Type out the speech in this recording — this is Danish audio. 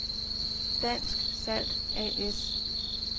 Dansk Salt A/S